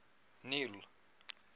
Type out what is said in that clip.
neil